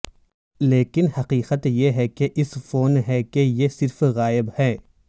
لیکن حقیقت یہ ہے کہ اس فون ہے کہ یہ صرف غائب ہے